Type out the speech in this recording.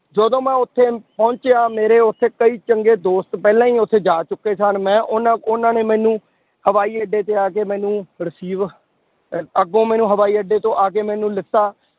ਜਦੋਂ ਮੈਂ ਉੱਥੇ ਪਹੁੰਚਿਆ, ਮੇਰੇ ਉੱਥੇ ਕਈ ਚੰਗੇ ਦੋਸਤ ਪਹਿਲਾਂ ਹੀ ਉੱਥੇ ਜਾ ਚੁੱਕੇ ਸਨ, ਮੈਂ ਉਹਨਾਂ ਉਹਨਾਂ ਨੇ ਮੈਨੂੰ ਹਵਾਈ ਅੱਡੇ ਤੇ ਆ ਕੇ ਮੈਨੂੰ receive ਅਹ ਅੱਗੋਂ ਮੈਨੂੰ ਹਵਾਈ ਅੱਡੇ ਤੋਂ ਆ ਕੇ ਮੈਨੂੰ ਲਿੱਤਾ